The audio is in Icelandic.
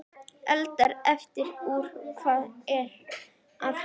Hann taldi aftur upp að fjórum og skaut þriðja skotinu.